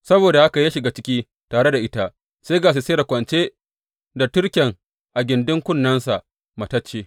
Saboda haka ya shiga ciki tare da ita, sai ga Sisera kwance da turken a gindin kunnensa, matacce.